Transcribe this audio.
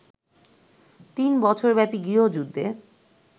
তিন বছরব্যাপী গৃহযুদ্ধে